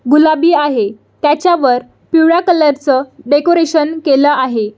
गुलाबी आहे त्याच्या वर पिवळ्या कलर च डेकोरेशन केलेल आहे.